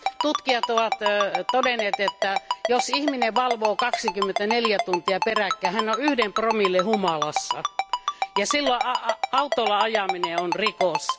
Tutkijat ovat todenneet, että jos ihminen valvoo 24 tuntia peräkkäin, hän on yhden promillen humalassa, ja silloin autolla ajaminen on rikos.